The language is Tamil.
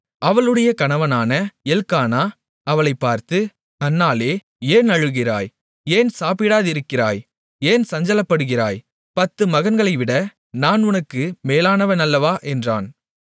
அவளுடைய கணவனான எல்க்கானா அவளைப் பார்த்து அன்னாளே ஏன் அழுகிறாய் ஏன் சாப்பிடாதிருக்கிறாய் ஏன் சஞ்சலப்படுகிறாய் பத்து மகன்களைவிட நான் உனக்கு மேலானவன் அல்லவா என்றான்